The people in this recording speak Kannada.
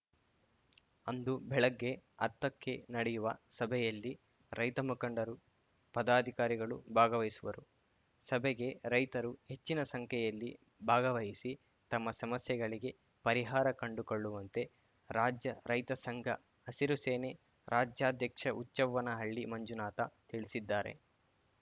ಅಂದು ಬೆಳಿಗ್ಗೆ ಹತ್ತಕ್ಕೆ ನಡೆಯುವ ಸಭೆಯಲ್ಲಿ ರೈತ ಮುಖಂಡರು ಪದಾಧಿಕಾರಿಗಳು ಭಾಗವಹಿಸುವರು ಸಭೆಗೆ ರೈತರು ಹೆಚ್ಚಿನ ಸಂಖ್ಯೆಯಲ್ಲಿ ಭಾಗವಹಿಸಿ ತಮ್ಮ ಸಮಸ್ಯೆಗಳಿಗೆ ಪರಿಹಾರ ಕಂಡುಕೊಳ್ಳುವಂತೆ ರಾಜ್ಯ ರೈತ ಸಂಘ ಹಸಿರು ಸೇನೆ ರಾಜ್ಯಾಧ್ಯಕ್ಷಹುಚ್ಚವ್ವನಹಳ್ಳಿ ಮಂಜುನಾಥ ತಿಳಿಸಿದ್ದಾರೆ